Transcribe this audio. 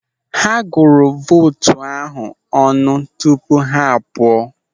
Ha gụrụ vootu ahụ ọnụ tupu ha a pụọ.